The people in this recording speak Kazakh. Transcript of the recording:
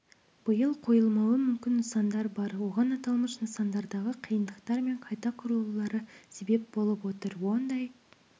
биыл қойылмауы мүмкін нысандар бар оған аталмыш нысандардағы қиындықтар мен қайта құрылулары себеп болып отыр ондай